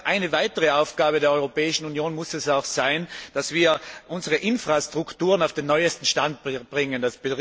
Eine weitere Aufgabe der Europäischen Union muss es sein, dass wir unsere Infrastrukturen auf den neuesten Stand bringen.